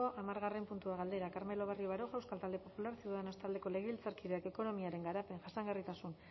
hamargarren puntua galdera carmelo barrio baroja euskal talde popularra ciudadanos taldeko legebiltzarkideak ekonomiaren garapen jasangarritasun